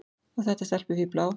Og þetta stelpufífl á